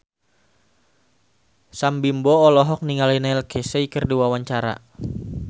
Sam Bimbo olohok ningali Neil Casey keur diwawancara